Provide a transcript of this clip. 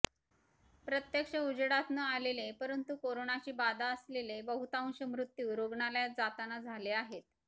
प्रत्यक्षात उजेडात न आलेले परंतु कोरोनाची बाधा असलेले बहुतांश मृत्यू रुग्णालयात जाताना झाले आहेत